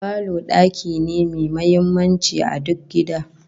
Falo daki ne mai muhimmanci a duk gida